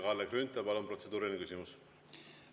Kalle Grünthal, palun, protseduuriline küsimus!